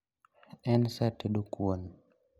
En saa tedo kuon